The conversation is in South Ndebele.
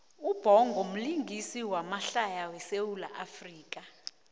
ubhongo mlingisi wamahlaya we sawula afrika